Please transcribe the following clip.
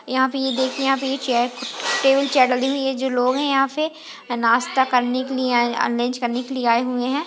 यहाँ पे ये देखिये यहाँ पे ये चेयर टेबल चेयर लगी हुई है जो लोग है यहाँ पे नाश्ता करने के लिए आये लंच करने के लिए आये हुये है।